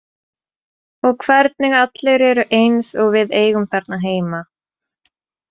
Og hvernig allir eru eins og við eigum þarna heima.